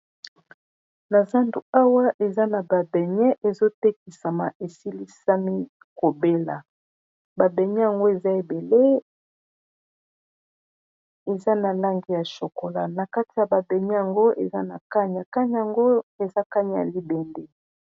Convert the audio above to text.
Na zandu awa eza na babene ezotekisama esilisami kobela babenye yango eza ebele eza na lange ya chokola na kati ya babenye yango eza na kanya kagnya yango eza kanya ya libende.